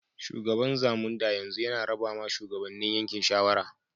Shugaban Zamunda yanzu yana raba ma shugabane yankin shawara.